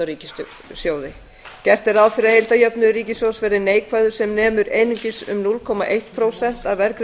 á ríkissjóði gert er ráð fyrir því að heildarjöfnuður ríkissjóðs verði neikvæður sem nemur einungis núll komma eitt prósent af